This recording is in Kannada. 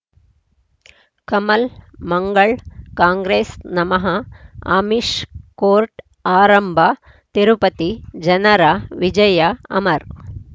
ಕಮಲ್ ಮಂಗಳ್ ಕಾಂಗ್ರೆಸ್ ನಮಃ ಆಮಿಷ್ ಕೋರ್ಟ್ ಆರಂಭ ತಿರುಪತಿ ಜನರ ವಿಜಯ ಅಮರ್